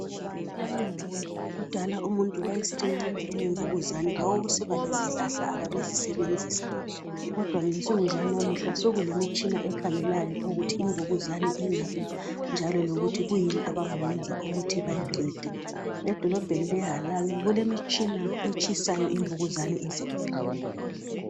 Kudala umuntu wayesithi engaba lemvukuzane kwakusiba lezihlahla ababezisebenzisa kodwa ngensuku zalamuhla sekulemitshina ekhangelayo ukuthi imvukuzane ingaphi njalo lokuthi yikuyini abangakwenza ukuthi bayiqede edolobheni le Harare kulemitshina etshisayo imvukuzane size iphele